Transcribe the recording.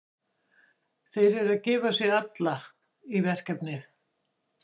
Þeir eru að gefa sig alla í verkefnið.